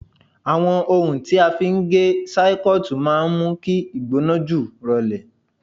Àwọn ohun tí a fi ń gé sáíkọ́ọ̀tì máa ń mú kí ìgbóná jù rọlẹ̀